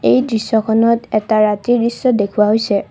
এই দৃশ্যখনত এটা ৰাতিৰ দৃশ্য দেখুওৱা হৈছে।